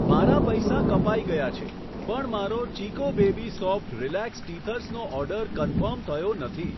મારા પૈસા કપાઈ ગયા છે, પણ મારો ચિકો બેબી સોફ્ટ રીલેક્સ ટીથર્સનો ઓર્ડર કન્ફર્મ થયો નથી.